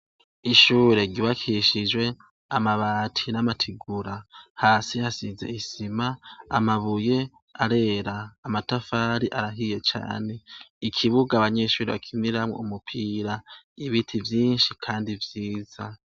Ishure ryubakishijwe amabati namategura hasi hasize isima amabuye arera amatafari arahiye cane ikibuga abanyeshure bakiniramwo umupira ibiti vyinshi kandi vyiza.